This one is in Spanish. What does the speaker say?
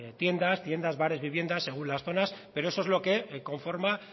tiendas tiendas bares viviendas según las zonas pero es lo que conforma